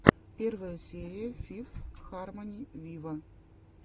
первая серия фифс хармони виво